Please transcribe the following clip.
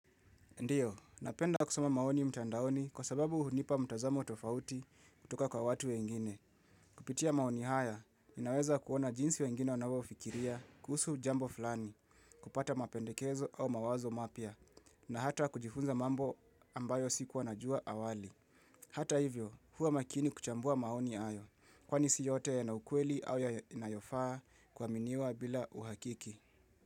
Ndiyo, napenda kusoma maoni mtandaoni kwa sababu hunipa mtazamo tofauti kutoka kwa watu wengine. Kupitia maoni haya, inaweza kuona jinsi wengine wanavyo ufikiria, kusu jambo fulani, kupata mapendekezo au mawazo mapia, na hata kujifunza mambo ambayo siku wanajua awali. Hata hivyo, huwa makini kuchambua maoni ayo, kwa nisi yote ya naukweli au ya inayofaa kwa miniwa bila uhakiki.